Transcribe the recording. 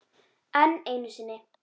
Enn einu sinni.